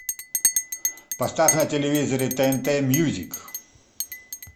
поставь на телевизоре тнт мьюзик